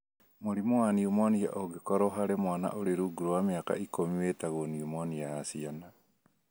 Mũrimũ wa nimonia ũngĩkorũo harĩ mwana ũrĩ rungu rwa mĩaka ikũmi wĩtagwo nimonia ya ciana.